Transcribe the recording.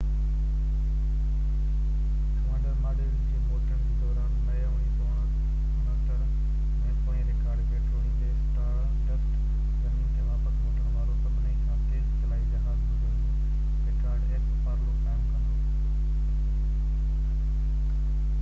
Apollo x commander module جي موٽڻ جي دوران مئي 1969 ۾ پوئين رڪارڊ کي ٽوڙيندي اسٽار ڊسٽ زمين تي واپس موٽڻ وارو سڀني کان تيز خلائي جهاز هجڻ جو رڪارڊ قائم ڪندو